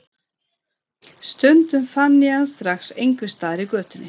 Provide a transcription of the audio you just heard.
Stundum fann ég hann strax einhvers staðar í götunni.